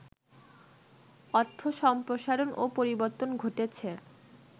অর্থ সম্প্রসারণ ও পরিবর্তন ঘটেছে